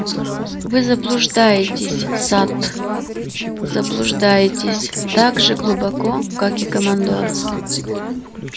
вы заблуждаетесь сатт заблуждаетесь так же глубоко как и командор